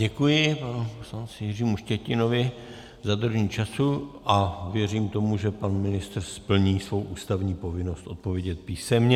Děkuji panu poslanci Jiřímu Štětinovi za dodržení času a věřím tomu, že pan ministr splní svou ústavní povinnost odpovědět písemně.